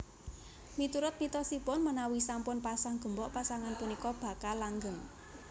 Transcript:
Miturut mitosipun menawi sampun pasang gembok pasangan punika bakal langgeng